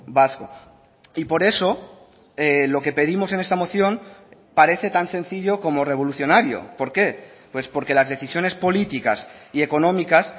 vasco y por eso lo que pedimos en esta moción parece tan sencillo como revolucionario por qué pues porque las decisiones políticas y económicas